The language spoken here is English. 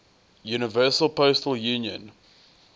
universal postal union